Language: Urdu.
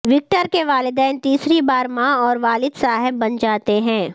وکٹر کے والدین تیسری بار ماں اور والد صاحب بن جاتے ہیں